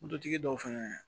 Moto tigi dɔw fɛnɛ